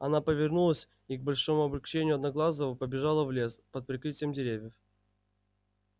она повернулась и к большому облегчению одноглазого побежала в лес под прикрытием деревьев